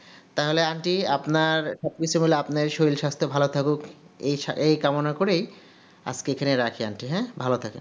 তাহলে aunty আপনার সব কিছু হলো আপনার শরীর স্বাস্থ ভালো থাকুক এই কামনা করেই আজকে এখানে রাখি হ্যা ভালো থাকেন